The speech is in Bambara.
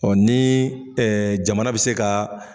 Ɔ ni jamana bɛ se ka.